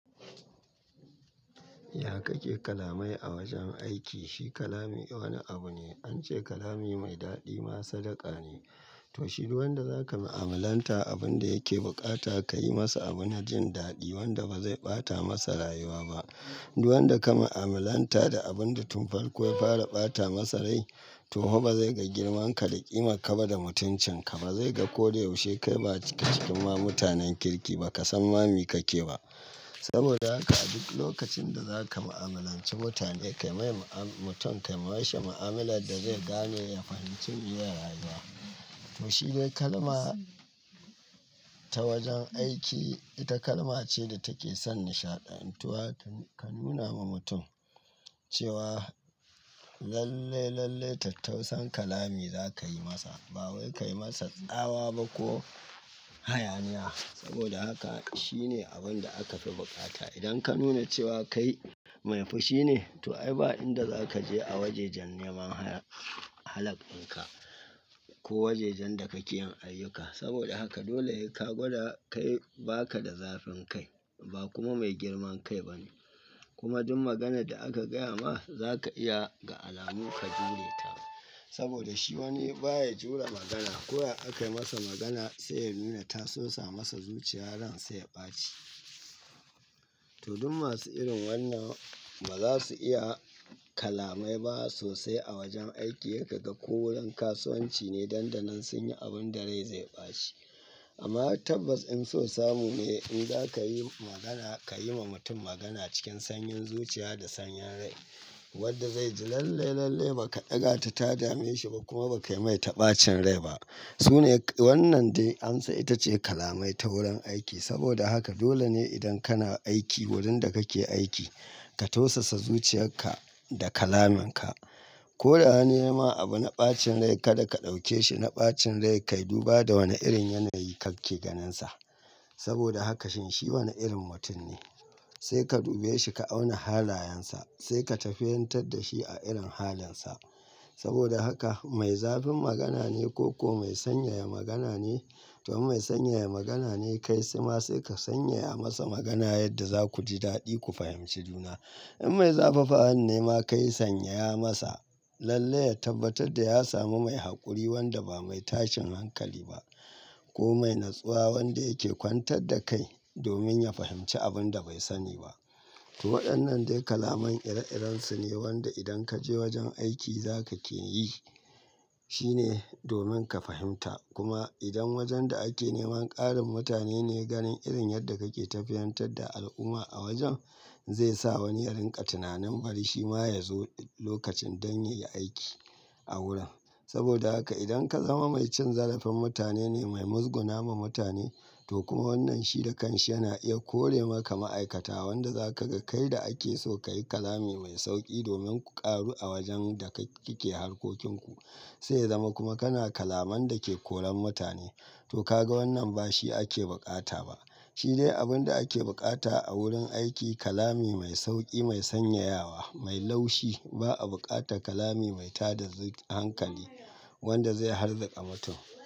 Ya kake kalamai a wajen aiki? Shi kalami wani abu ne. An ce kalami mai daɗi ma sadaka ne. To shi, duk wanda za ka mu'amalanta abun da yake bukata ka yi masa abu na jin daɗi wanda ba zai ɓata masa rayuwa ba. Duk wanda ka mu'amalanta da abun da tun farko ya fara ɓata masa rai to hau ba zai ga girman ka da ƙima ka ba da mutuncin ka. Ba zai ga ko da yaushe kai ba ka cikin ma mutanen kirki ba ka san ma me kake ba. Saboda haka a duk lokacin da za ka mu'amalanci mutane, ka mai mu'am-mutum ka mashi mu'amalar da zai gane ya fahimci, miye rayuwa. To shi dai kalma ta wajen aiki ita kalma ce da take son nishaɗantuwa. Ka nuna ma mutum cewa lalle, lalle tattausan kalami za ka yi masa. Ba wai ka yi masa tsawa ba ko hayaniya. Saboda haka shi ne abin da aka fi bukata. Idan ka nuna cewa kai mai fushi ne to ai ba inda za ka je a wajejan neman ha-halak dinka ko wajejan da kake yin ayyukanka. Saboda haka dole sai ka gwada kai ba ka da zafin kai ba kuma mai girman kai ba ne. Kuma duk maganar da aka gaya ma za ka iya ga alamu ka jure ta. Saboda shi wani ba ya jure magana. Ko ya aka yi masa magana sai ya nuna ta sosa masa zuciya ransa ya ɓaci. To duk masu irin wannan ba za su iya kalamai ba sosai a wajen aiki. Sai kaga ko wurin kasuwanci ne danɗanan sun yi abin da rai zai ɓaci. Amma tabbas in so samu ne in za ka yi magana, ka yi ma mutum magana cikin sanyin zuciya da sanyin rai wadda zai ji lalle, lalle ba ka ɗaga ta ta dame shi ba kuma ba ka mai ta ɓacin rai ba. Su ne wannan dai amsa ita ce kalamai ta wurin aiki. Saboda haka dole ne idan kana aiki wurin da kake aiki ka tausasa zuciyarka da kalaminka. Ko da wani yamma abu na ɓacin rai kaɗa ka ɗauke shi na ɓacin rai, ka yi duba da wane irin yanayi kake ganinsa. Saboda haka shin shi wane irin mutum ne? Sai ka dube shi, ka auna halayensa, sai ka tafiyantar da shi a irin halinsa. Saboda haka mai zafin magana ne ko, ko mai sanyaya magana ne? To in mai sanyaya magana ne kai, sai ma sai ka sanyaya masa magana yadda za ku ji daɗi ku fahimci juna. In mai zafafawa ne ma kai sanyaya masa lalle ya tabbatar da ya samu mai haƙuri wanda ba mai tashin hankali ba ko mai natsuwa wanda yake kwantar da kai domin ya fahimci abun da bai sani ba. To waɗannan dai kalaman ire-irensu ne wanda idan ka je wajen aiki za ka ke yi. Shi ne domin ka fahimta. Kuma idan wajen da ake neman ƙarin mutane ne, ganin irin yadda kake tafiyantar da al'umma a wajen zai sa wani ya rinƙa tunanin bari shi ma ya zo lokacin don ya yi aiki a wurin. Saboda haka idan ka zama mai cin zarafin mutane ne, mai muzguna ma mutane to kuma wannan shi da kanshi yana iya kore maka ma'aikata. Wanda za ka ga kai da ake so ka yi kalami mai sauƙi domin ku ƙaru a wajen da ka-ke harkokinku. Sai ya zama kuma kana kalaman da ke koran mutane. To ka ga wannan ba shi ake bukata ba. Shi dai abun da ake bukata a wurin aiki kalami mai sauƙi, mai sanyayawa, mai laushi. Ba a bukata kalami mai tada hankali wanda zai harzaka mutum.